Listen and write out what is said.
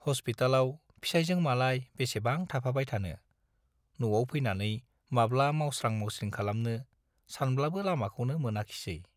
हस्पितालाव फिसाइजों मालाय बेसेबां थाफाबाय थानो, न'आव फैनानै माब्ला मावस्रां-मावस्रिं खालामनो - सानब्लाबो लामाखौनो मोनाखिसै।